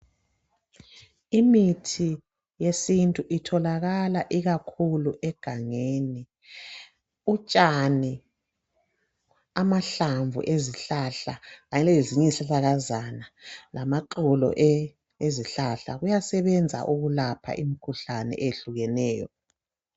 Imithi yesintu itholakala ikakhulu egangeni. Utshani, amahlamvu ezihlahla kanye lezinye izihlahlakazana lamaxolo ezihlahla kuyasebenza ukulapha imikhuhlane eyehlukeneyo.